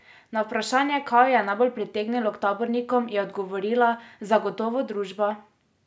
Na vprašanje kaj jo je najbolj pritegnilo k tabornikom, je odgovorila: "Zagotovo družba.